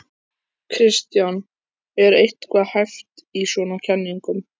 Kristján: Er eitthvað hæft í svona kenningum?